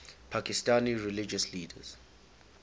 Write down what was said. pakistani religious leaders